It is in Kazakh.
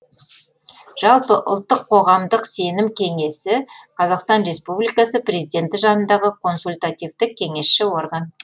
жалпы ұлттық қоғамдық сенім кеңесі қазақстан республикасы президенті жанындағы консультативтік кеңесші орган